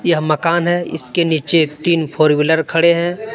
यह मकान है इसके नीचे तीन फोर व्हीलर खड़े हैं।